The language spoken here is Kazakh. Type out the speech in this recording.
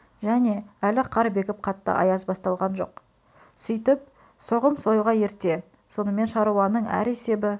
және әлі қар бекіп қатты аяз басталған жоқ сөйтіп соғым союға ерте сонымен шаруаның әр есебі